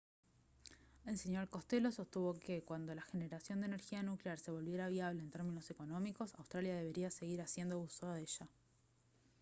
el sr costello sostuvo que cuando la generación de energía nuclear se volviera viable en términos económicos australia debería seguir haciendo uso de ella